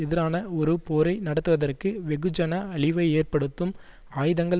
எதிரான ஒரு போரை நடத்துவதற்கு வெகுஜன அழிவை ஏற்படுத்தும் ஆயுதங்கள்